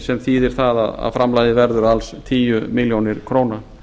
sem þýðir það að framlagið verður alls tíu milljónir króna